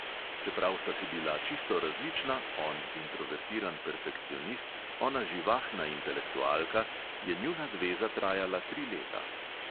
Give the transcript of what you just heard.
Čeprav sta si bila čisto različna, on introvertiran perfekcionist, ona živahna intelektualka, je njuna zveza trajala tri leta.